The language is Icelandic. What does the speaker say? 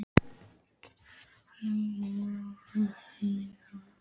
Ingilaug, hvað er á áætluninni minni í dag?